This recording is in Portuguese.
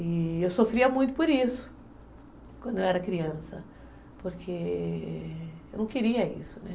E eu sofria muito por isso, quando eu era criança, porque eu não queria isso, né?